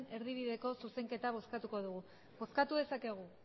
erdibideko zuzenketa bozkatuko dugu bozkatu dezakegu